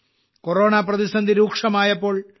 corona പ്രതിസന്ധി രൂക്ഷമായപ്പോൾ ശ്രീ